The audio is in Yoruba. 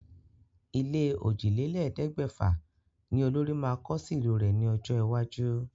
Ilé òjìlélẹ̀ẹ́dẹ́gbẹ̀fà ní olórí máa kọ́ sí ìlú rẹ̀ ní ọjọ́ iwájú.